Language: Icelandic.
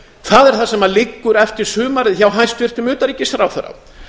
það er það sem liggur eftir sumarið hjá hæstvirtum utanríkisráðherra